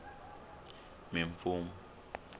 mimfumo